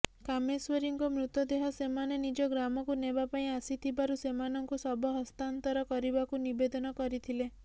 କାମେଶ୍ୱରୀଙ୍କ ମୃତଦେହ ସେମାନେ ନିଜ ଗ୍ରାମକୁ ନେବା ପାଇଁ ଆସିଥିବାରୁ ସେମାନଙ୍କୁ ଶବ ହସ୍ତାନ୍ତର କରିବାକୁ ନିବେଦନ କରିଥିଲେ